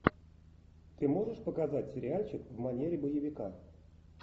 ты можешь показать сериальчик в манере боевика